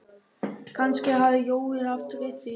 Kannski hafði Jói haft rétt fyrir sér.